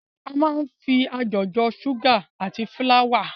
A máa ń fi ajọ̀ jọ ṣúgà àti fúláwà.